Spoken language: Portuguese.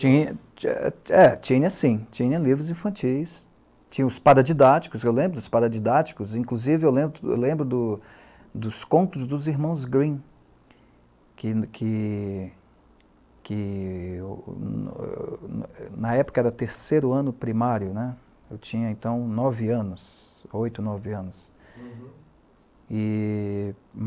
Tinha, sim, tinha livros infantis, tinha os paradidáticos, eu lembro dos paradidáticos, inclusive eu lembro dos contos dos irmãos Grimm, que na época era terceiro ano primário, né, eu tinha então nove anos, oito, nove anos.